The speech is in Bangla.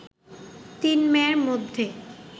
তিন মেয়ের মধ্যে